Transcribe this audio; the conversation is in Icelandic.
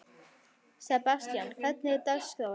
Sebastian, hvernig er dagskráin?